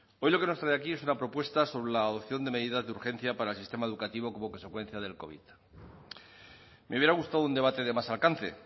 hoy lo que nos trae aquí es una propuesta sobre la adopción de medidas de urgencia para el sistema educativo como consecuencia del covid me hubiera gustado un debate de más alcance